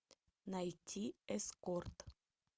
найти эскорт